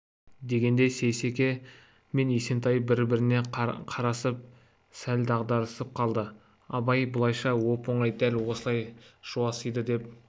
дегенде сейсеке мен есентай бір-біріне қарасып сәл дағдарысып қалды абайды бұлайша оп-оңай дәл осылай жуасиды деп